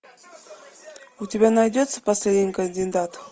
у тебя найдется последний кандидат